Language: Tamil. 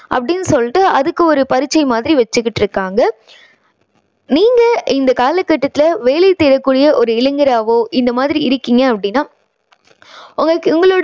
அப்படின்னு சொல்லிட்டு அதுக்கு ஒரு பரீட்சை மாதிரி வச்சுக்கிட்டு இருக்காங்க. நீங்க இந்த காலக்கட்டத்துல வேலை செய்யக் கூடிய ஒரு இளைஞராவோ இந்த மாதிரி இருக்கீங்க அப்படின்னா உங்களுக்கு உங்களோட